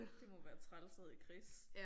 Det må være træls at hedde Chris